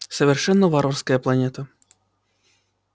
совершенно варварская планета